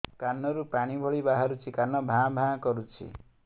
କାନ ରୁ ପାଣି ଭଳି ବାହାରୁଛି କାନ ଭାଁ ଭାଁ କରୁଛି